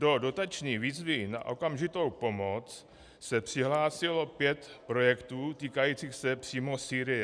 Do dotační výzvy na okamžitou pomoc se přihlásilo pět projektů týkajících se přímo Sýrie.